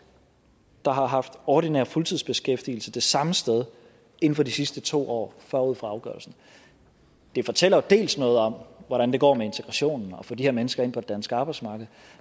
der har haft ordinær fuldtidsbeskæftigelse det samme sted inden for de sidste to år forud for afgørelsen det fortæller jo noget om hvordan det går med integrationen med at få de her mennesker ind på det danske arbejdsmarked